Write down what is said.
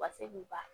U ka se k'u ba